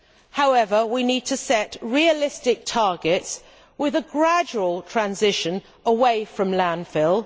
However, we need to set realistic targets with a gradual transition away from landfill.